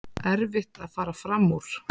Erfitt að fara fram úr